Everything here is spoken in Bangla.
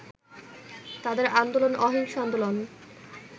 তাদের আন্দোলন অহিংস আন্দোলন